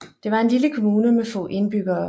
Det var en lille kommune med få indbyggere